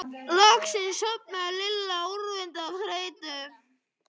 Loksins sofnaði Lilla úrvinda af þreytu.